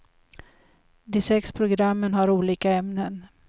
De sex programmen har olika ämnen.